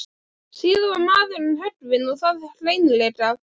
Síðan var maðurinn höggvinn og það hreinlega.